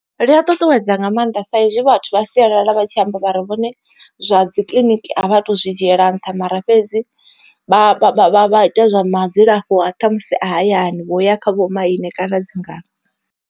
Ḽia ṱuṱuwedza nga maanḓa sa izwi vhathu vha sialala vha tshi amba vha ri vhone zwa dzi kiḽiniki a vha tu zwi dzhiela nṱha. Mara fhedzi vha vha vha ita zwa ma dzilafho a ṱhamusi a hayani vho ya kha vhomaine kana dzi ngalo.